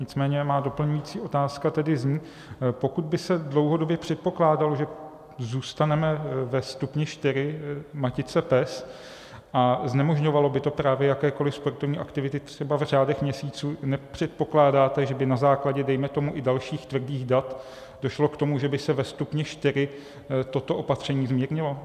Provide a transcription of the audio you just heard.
Nicméně má doplňující otázka tedy zní: Pokud by se dlouhodobě předpokládalo, že zůstaneme ve stupni 4 matice PES, a znemožňovalo by to právě jakékoliv sportovní aktivity třeba v řádech měsíců, nepředpokládáte, že by na základě, dejme tomu, i dalších tvrdých dat došlo k tomu, že by se ve stupni 4 toto opatření zmírnilo?